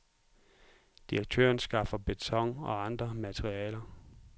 Direktøren skaffer beton og andre materialer.